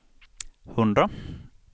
hundra